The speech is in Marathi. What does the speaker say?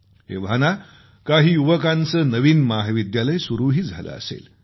एव्हाना काही युवकांचं नवीन महाविद्यालय सुरूही झालं असेल